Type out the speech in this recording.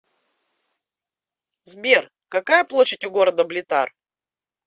сбер какая площадь у города блитар